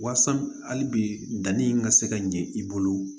Wasa hali bi danni in ka se ka ɲɛ i bolo